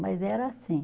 Mas era assim.